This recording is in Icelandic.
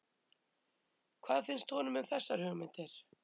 Hvað finnst honum um þessar hugmyndir?